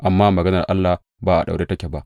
Amma Maganar Allah ba a daure take ba.